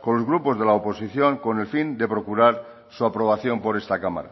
con los grupos de la oposición con el fin de procurar su aprobación por esta cámara